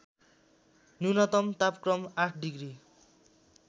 न्यूनतम तापक्रम ८ डिग्री